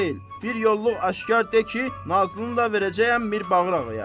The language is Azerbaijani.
Bir yolluq aşkar de ki, Nazlını da verəcəyəm Mirbağır ağaya.